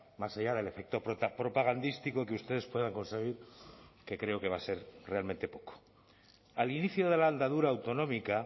más allá del efecto propagandístico que ustedes puedan conseguir que creo que va a ser realmente poco al inicio de la andadura autonómica